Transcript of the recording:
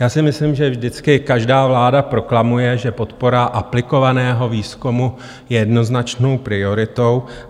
Já si myslím, že vždycky každá vláda proklamuje, že podpora aplikovaného výzkumu je jednoznačnou prioritou.